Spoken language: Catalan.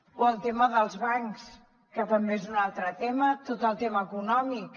o el tema dels bancs que també és un altre tema tot el tema econòmic